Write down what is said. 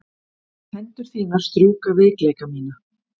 Hendur þínar strjúka veikleika mína.